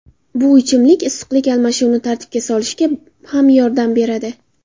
Bu ichimlik issiqlik almashuvini tartibga solishga ham yordam beradi.